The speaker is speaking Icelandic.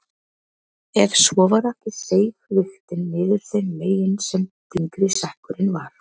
Ef svo var ekki seig vigtin niður þeim megin sem þyngri sekkurinn var.